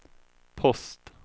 post